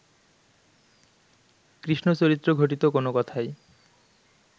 কৃষ্ণচরিত্র-ঘটিত কোন কথাই